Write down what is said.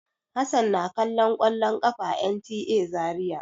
Hassan na kallon kwallon ƙafa a NTA Zariya.